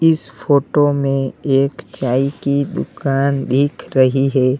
इस फोटो में एक चाय की दुकान दिख रही है।